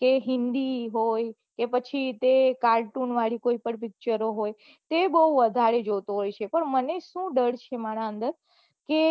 કે હિન્દી હોય પછી કે cartoon વાળી કોઈ પન પીચારો હોય તે બહુ વઘારે જોતો હોય છે મને શું ડર છે મારા અંદર કે